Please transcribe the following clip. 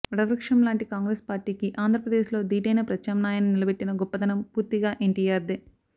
వటవృక్షంలాంటి కాంగ్రెసు పార్టీకి ఆంధ్ర ప్రదేశ్ లో దీటైన ప్రత్యామ్నాయాన్ని నిలబెట్టిన గొప్పదనం పూర్తిగా ఎన్టీఆర్దే